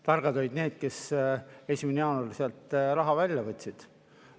Targad olid need, kes 1. jaanuaril sealt raha välja võtsid.